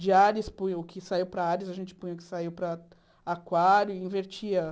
De Ares, punha o que saiu para Ares, a gente punha o que saiu para Aquário e invertia.